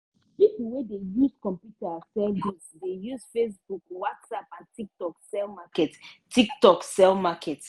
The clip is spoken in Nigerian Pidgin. pipo wey dey use computer sell goods dey use facebook whatsapp and tiktok sell market. tiktok sell market.